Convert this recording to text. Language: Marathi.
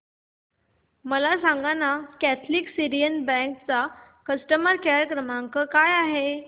मला सांगाना कॅथलिक सीरियन बँक चा कस्टमर केअर क्रमांक काय आहे